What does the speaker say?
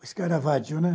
O escaravagio, né?